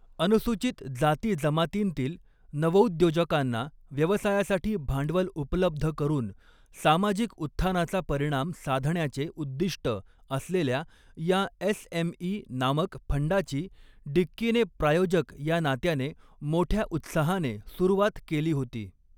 अनुसूचित जाती जमातींतील नवौद्योजकांना व्यवसायासाठी भांडवल उपलब्ध करून सामाजिक उत्थानाचा परिणाम साधण्याचे उद्दिष्ट असलेल्या या एसएमई नामक फंडाची डिक्कीने प्रायोजक या नात्याने मोठ्या उत्साहाने सुरुवात केली होती.